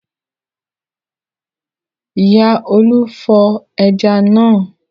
Ìyá Olú fọ ẹja náà.